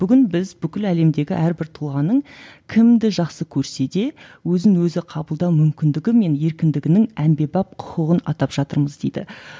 бүгін біз бүкіл әлемдегі әрбір тұлғаның кімді жақсы көрсе де өзін өзі қабылдау мүмкіндігі мен еркіндігінің әмбебап құқығын атап жатырмыз дейді